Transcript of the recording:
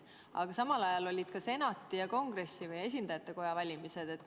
Aga samal ajal olid ka senati ja esindajatekoja valimised.